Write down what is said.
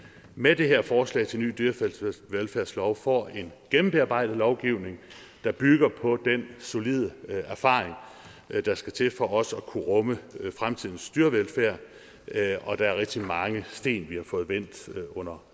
med det her forslag til en ny dyrevelfærdslov får en gennembearbejdet lovgivning der bygger på den solide erfaring der skal til for også at kunne rumme fremtidens dyrevelfærd og der er rigtig mange sten vi har fået vendt